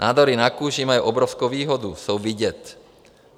Nádory na kůži mají obrovskou výhodu - jsou vidět.